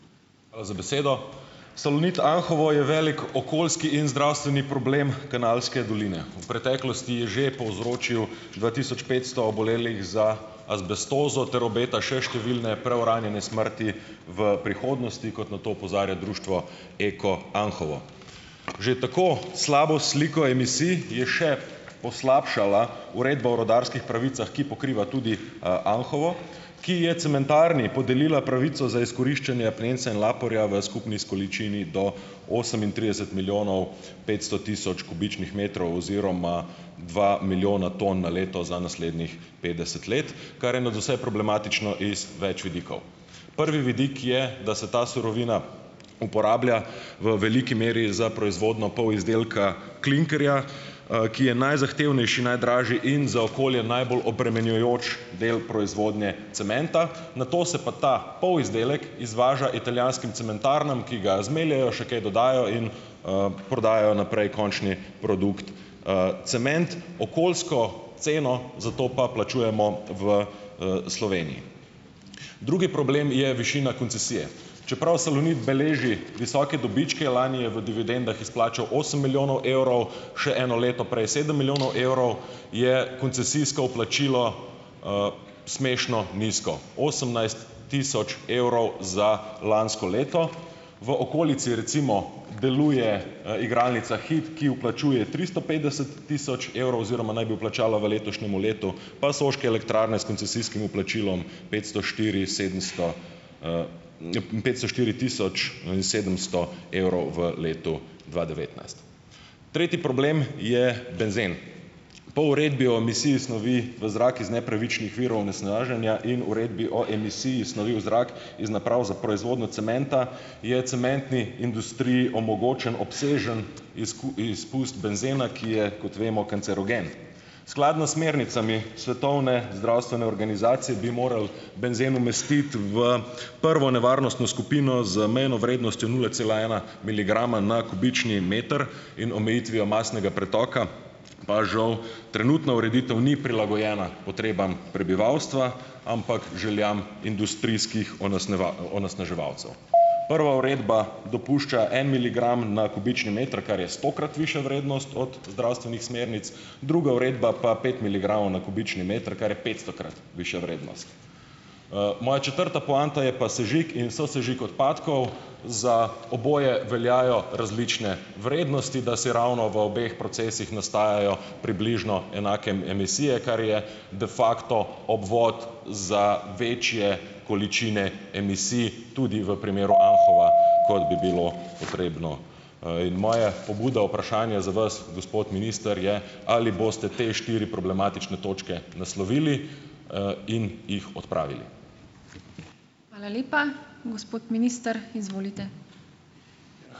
Hvala za besedo. Salonit Anhovo je velik okoljski in zdravstveni problem Kanalske doline. V preteklosti je že povzročil dva tisoč petsto obolelih za azbestozo ter obeta še številne preuranjene smrti v prihodnosti, kot na to opozarja društvo Eko Anhovo. Že tako slabo sliko emisij je še poslabšala uredba o rudarskih pravicah, ki pokriva tudi, Anhovo, ki je cementarni podelila pravico za izkoriščanje apnenca in laporja v skupni količini do osemintrideset milijonov petsto tisoč kubičnih metrov oziroma dva milijona ton na leto za naslednjih petdeset let, kar je nadvse problematično iz več vidikov. Prvi vidik je, da se ta surovina uporablja, v veliki meri, za proizvodnjo polizdelka klinkerja, ki je najzahtevnejši, najdražji in za okolje najbolj obremenjujoč del proizvodnje cementa, nato se pa ta polizdelek izvaža italijanskim cementarnam, ki ga zmeljejo, še kaj dodajo in, prodajo naprej končni produkt - cement, okoljsko ceno za to pa plačujemo v, Sloveniji. Drugi problem je višina koncesije. Čeprav Salonit beleži visoke dobičke - lani je v dividendah izplačal osem milijonov evrov, še eno leto prej sedem milijonov evrov - je koncesijsko vplačilo, smešno nizko; osemnajst tisoč evrov za lansko leto. V okolici, recimo, deluje, igralnica Hit, ki vplačuje tristo petdeset tisoč evrov oziroma naj bi vplačala v letošnjem letu, pa stroške elektrarne, s koncesijskim vplačilom; petsto štiri, sedemsto, petsto štiri tisoč in sedemsto evrov v letu dva devetnajst. Tretji problem je benzen. Po Uredbi o emisiji snovi v zrak iz nepravičnih virov onesnaženja in Uredbi o emisiji snovi v zrak iz naprav za proizvodnjo cementa je cementni industriji omogočen obsežen izpust benzena, ki je, kot vemo, kancerogen. Skladno s smernicami Svetovne zdravstvene organizacije, bi moral benzen umestiti v prvo nevarnostno skupino, z mejno vrednostjo nula cela ena miligrama na kubični meter in omejitvijo mastnega pretoka, pa žal trenutna ureditev ni prilagojena potrebam prebivalstva, ampak željam industrijskih onesnaževalcev. Prva uredba dopušča en miligram na kubični meter, kar je stokrat višja vrednost od zdravstvenih smernic, druga uredba pa pet miligramov na kubični meter, kar je petstokrat višja vrednost. Moja četrta poanta je pa sežig in "sosežig" odpadkov - za oboje veljajo različne vrednosti, "dasiravno" v obeh procesih nastajajo približno enake emisije, kar je de facto obvod za večje količine emisij, tudi v primeru Anhova, kot bi bilo potrebno, in moja pobuda vprašanja za vas, gospod minister, je, ali boste te štiri problematične točke naslovili, in jih odpravili.